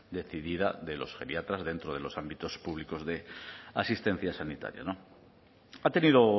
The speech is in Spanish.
decidida de los geriatras dentro de los ámbitos públicos de asistencia sanitaria ha tenido